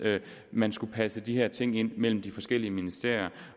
man skulle passe de her ting ind mellem de forskellige ministerier